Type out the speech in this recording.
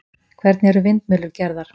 hvernig eru vindmyllur gerðar